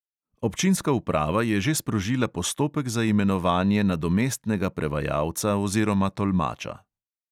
Občinska uprava je že sprožila postopek za imenovanje nadomestnega prevajalca oziroma tolmača.